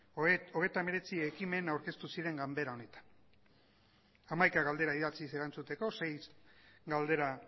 hogeita hemeretzi ekimen aurkeztu ziren ganbera honetan hamaika galdera idatziz erantzuteko sei galdera